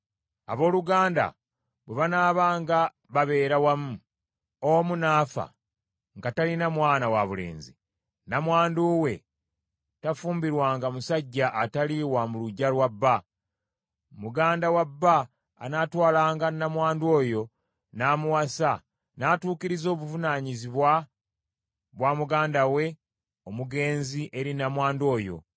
Abooluganda bwe banaabanga babeera wamu, omu n’afa nga talina mwana wabulenzi, nnamwandu we tafumbirwanga musajja atali wa mu luggya lwa bba. Muganda wa bba anaatwalanga nnamwandu oyo n’amuwasa, n’atuukiriza obuvunaanyizibwa bwa muganda we omugenzi eri nnamwandu oyo.